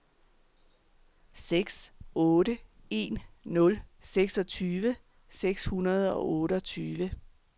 seks otte en nul seksogtyve seks hundrede og otteogtyve